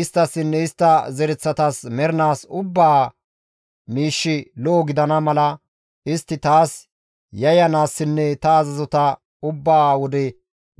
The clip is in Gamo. Isttassinne istta zereththatas mernaas ubbaa miishshi lo7o gidana mala istti taas yayyanaassinne ta azazota ubba wode